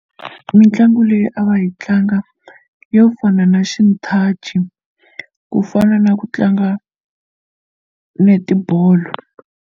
Mitlangu leyi a va yi tlanga yo fana na xinthaci ku fana na ku tlanga netibolo.